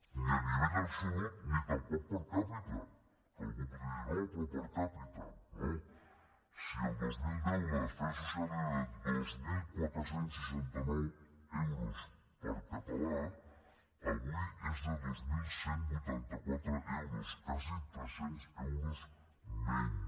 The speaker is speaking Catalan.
ni el nivell absolut ni tampoc per capita que algú podria dir no però no si el dos mil deu la despesa social era de dos mil quatre cents i seixanta nou euros per català avui és de dos mil cent i vuitanta quatre euros quasi tres cents euros menys